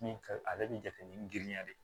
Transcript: Min ka ale bɛ jate ni girinya de ye